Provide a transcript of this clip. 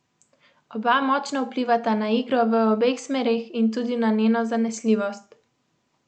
Oba močno vplivata na igro v obeh smereh in tudi na njeno zanesljivost.